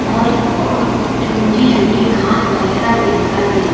और और छोटी छोटी घास वगैरा भी दिखाई दे रही।